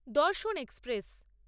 দর্শন এক্সপ্রেস